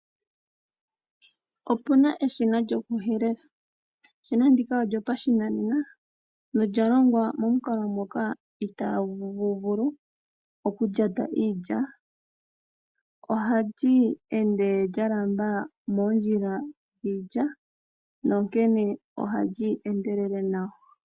Opu na eshina lyokuhelela. Eshina ndika olyo pashinanena nolya longwa momukalo moka itagu vulu okulyata iilya. Ohali ende lya lamba moondjila dhiilya nonkene ohali endelele nawa.